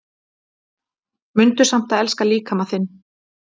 Mundu samt að elska líkama þinn